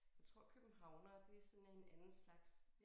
Jeg tror københavnere det sådan en anden slags